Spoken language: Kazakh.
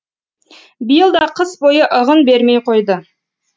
биыл да қыс бойы ығын бермей қойды